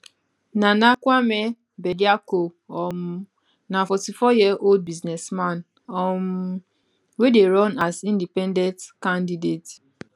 nana kwame bediako um na 44yearold business man um wey dey run as independent candidate